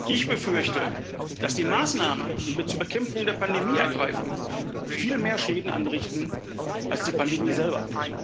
Ich befürchte, dass die Maßnahmen, die wir zur Bekämpfung der Pandemie ergreifen, viel mehr Schäden anrichten als die Pandemie selber.